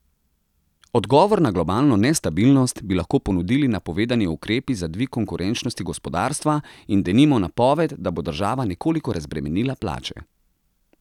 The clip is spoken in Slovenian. Odgovor na globalno nestabilnost bi lahko ponudili napovedani ukrepi za dvig konkurenčnosti gospodarstva in, denimo, napoved, da bo država nekoliko razbremenila plače.